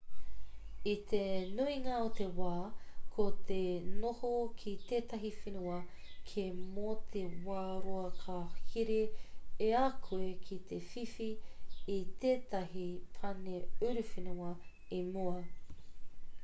i te nuinga o te wā ko te noho ki tētahi whenua kē mō te wā roa ka here i a koe ki te whiwhi i tētahi pane uruwhenua i mua